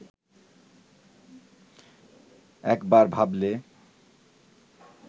একবার ভাবলে